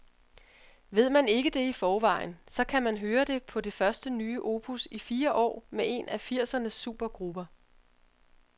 Ved man ikke det i forvejen, så kan man høre det på det første nye opus i fire år med en af firsernes supergrupper.